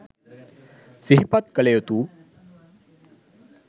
සිහිපත් කළ යුතු